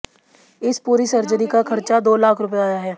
इस पूरी सर्जरी का खर्चा दो लाख रुपये आया है